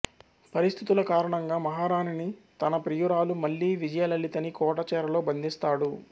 పరిస్థితుల కారణంగా మహారాణిని తన ప్రియురాలు మల్లి విజయలలితని కోట చెరలో బంధిస్తాడు